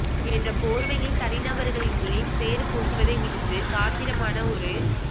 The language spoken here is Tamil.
என்ற போர்வையில் தனிநபர்களின் மேல் சேறுபூசுவதை விடுத்து காத்திரமான ஒரு